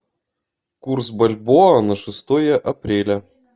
курс бальбоа на шестое апреля